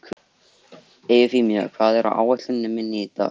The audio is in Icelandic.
Eufemía, hvað er á áætluninni minni í dag?